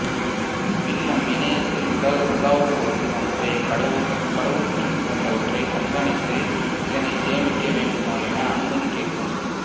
பின் நம் இணையத்தில் உலாவும்போது நம்முடைய கடவுச் சொல் போன்றவற்றை கண்காணித்து இதனை சேமிக்க வேண்டுமா என அனுமதி கேட்கும்